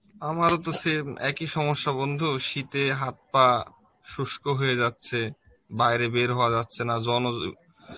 আমারও তো same এক ই খবর বন্ধু শীত এ হাত পা শুষ্ক হয়ে যাচ্ছে বাইরে বের হওয়া যাচ্ছে না জন্ময~